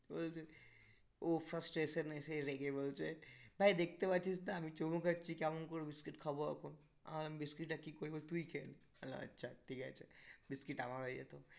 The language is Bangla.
ও frustration এ এসে রেগে বলছে ভাই দেখতে পাচ্ছিস না? আমি চুমু খাচ্ছি কেমন করে biscuit খাবো এখন আমি বললাম biscuit টা কি করবো তুই খেয়ে নে বললাম আচ্ছা ঠিক আছে biscuit আমার হয়ে যেত